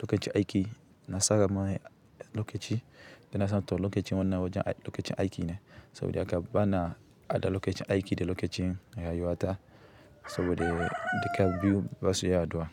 lokacin aiki. Na tsara mai lokaci da na sa to lokacin wannan wojen lokacin aiki ne. Saboda haka bana haɗa lokacin aiki da lokacin rayuwata. Sabode duka biyu ba su iya haɗuwa.